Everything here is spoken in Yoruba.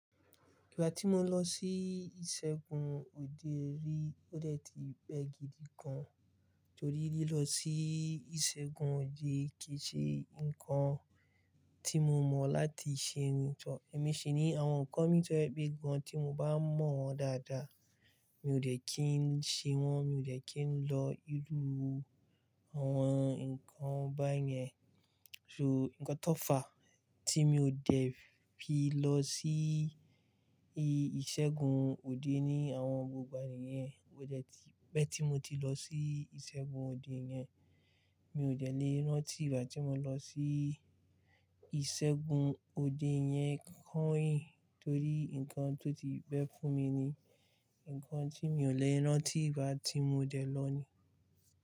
Ìgbà tí mo lọ sí ìṣègùn òde rí, ó dẹ̀ ti pẹ́ gidi gan, torí lílọ sí ìṣègùn òde kì í ṣe ǹkan tí mo mọ̀ láti ṣe ríńtọ̀. Èmi sì ní àwọn ǹkan mìíràn tó ẹgbẹ́ gan tí mo bá mọ̀ wọ́n dáadáa, mi ò dẹ̀ kí ń ṣe wọ́n, mi ò dẹ̀ kí ń lọ ìlú àwọn ǹkan báyẹn. So ǹkan tó fàá tí mi ò dẹ̀ fi lọ sí ìṣègùn òde ni àwọn gbogbo ènìyàn bẹ́ẹ̀ tí mo ti lọ sí ìṣègùn òde yẹn, mi ò dẹ̀ lè rántí ìgbà tí mo lọ sí ìṣègùn òde yẹn kánìń, torí ǹkan tó ti bẹ́ fún mi ni ǹkan tí mi ò lè rántí ìgbà tí mo dẹ̀ lọ ni.